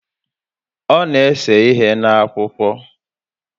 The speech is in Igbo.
Ọ na ese ihe N'Akwụkwọ